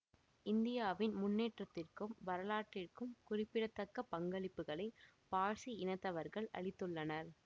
இந்தியாவின் முன்னேற்றத்திற்கும் வரலாற்றிற்கும் குறிப்பிடத்தக்க பங்களிப்புகளை பார்சி இனத்தவர்கள் அளித்துள்ளனர்